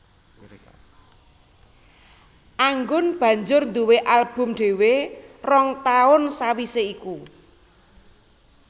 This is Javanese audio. Anggun banjur nduwé album dhéwé rong taun sawisé iku